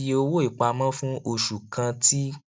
iye owó ìpamọ fún oṣù kan ti